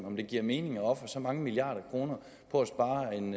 om det giver mening at ofre så mange milliarder kroner på